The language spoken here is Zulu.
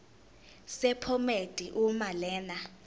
sephomedi uma lena